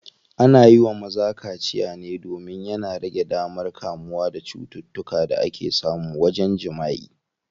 Ana yiwa maza kaciya ne domin yana rage damar kamuwa da cututtukan da ake samu wajen jimaʼi.